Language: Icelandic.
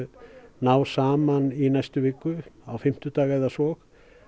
ná saman í næstu viku á fimmtudag eða svo